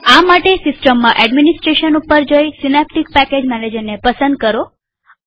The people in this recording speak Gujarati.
તેના માટે સીસ્ટમમાં એડમીનીસ્ત્રેશન ઉપર જઈસીનેપ્ટીક પેકેજ મેનેજરને પસંદ કરો